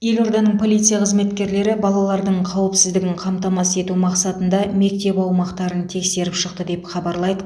елорданың полиция қызметкерлері балалардың қауіпсіздігін қамтамасыз ету мақсатында мектеп аумақтарын тексеріп шықты деп хабарлайды